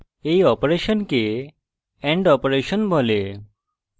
এই অপারেশনকে and operation বলে